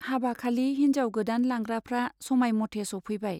हाबाखालि हिन्जाव गोदान लांग्राफ्रा समायमथे सौफैबाय।